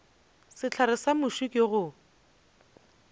sehlare sa muši ke go